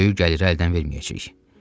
Böyük gəliri əldən verməyəcəyik.